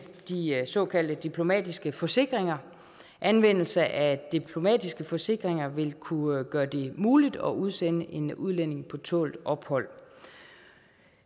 de såkaldte diplomatiske forsikringer anvendelse af diplomatiske forsikringer vil kunne gøre det muligt at udsende en udlænding på tålt ophold